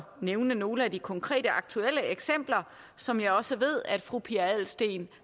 nævne nogle af de konkrete aktuelle eksempler som jeg også ved at fru pia adelsteen